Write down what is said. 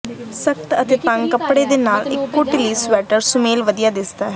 ਸਖ਼ਤ ਅਤੇ ਤੰਗ ਕੱਪੜੇ ਦੇ ਨਾਲ ਇੱਕ ਢਿੱਲੀ ਸਵੈਟਰ ਸੁਮੇਲ ਵਧੀਆ ਦਿੱਸਦਾ ਹੈ